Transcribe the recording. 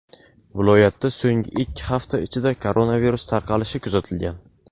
viloyatda so‘nggi ikki hafta ichida koronavirus tarqalishi kuzatilgan.